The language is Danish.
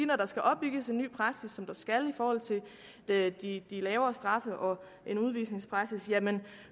når der skal opbygges en ny praksis som der skal i forhold til de lavere straffe og en udvisningspraksis